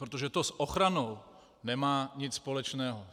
Protože to s ochranou nemá nic společného.